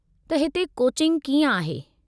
त हिते कोचिंग कीअं आहे ?